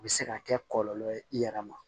U bɛ se ka kɛ kɔlɔlɔ ye i yɛrɛ ma